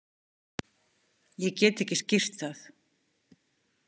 Ég get ekki skýrt það.